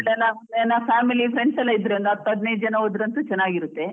ಎಲ್ಲ family, friends ಎಲ್ಲಾ ಇದ್ರೆ ಒಂದ್ ಹತ್ ಹದಿನೈದು ಜನ ಇದ್ರೆ ಹೋದ್ರಂತೂ ಚೆನ್ನಾಗಿರುತ್ತೆ.